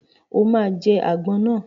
O ma jẹ́ àgbọn náà!